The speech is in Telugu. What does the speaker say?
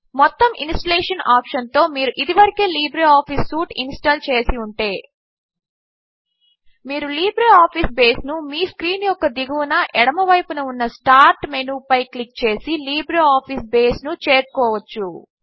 మొత్తం ఇన్స్టలేషన్ ఆప్షన్తో మీరు ఇదివరకే లిబ్రేఆఫీస్ సూట్ ఇన్స్టాల్ చేసి ఉంటే మీరు లిబ్రేఆఫీస్ బేస్ను మీ స్క్రీన్ యొక్క దిగువన ఎడమవైపున ఉన్న స్టార్ట్ మెనూపై క్లిక్ చేసి లిబ్రేఆఫీస్ బేస్ను చేరుకోవచ్చు